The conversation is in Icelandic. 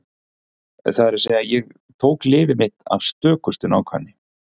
Það er að segja: Ég tók lyfið mitt af stökustu nákvæmni.